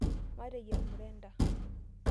Mateyierr mrenda.